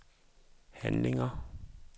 handlinger